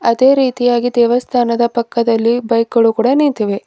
ಅದೇ ರೀತಿಯಾಗಿ ದೇವಸ್ಥಾನದ ಪಕ್ಕದಲ್ಲಿ ಬೈಕ್ ಗಳು ಕೂಡ ನಿಂತಿವೆ.